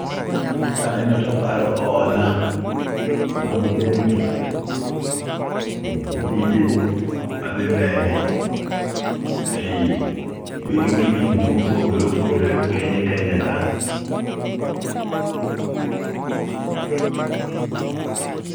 Kaneno taparo hola mag bengi gi tije ma dhi mbele ei bengi ni mopogore opogore e piny kenya ka